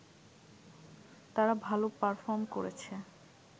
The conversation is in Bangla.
তারা ভাল পারফর্ম করেছে